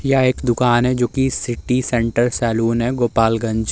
यह एक दुकान है जोकि सिटी सेंट्रल सेलून है गोपालगंज ।